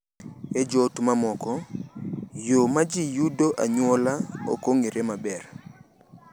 E joot mamoko, yo ma ji yudogo anyuola ok ong’ere maber.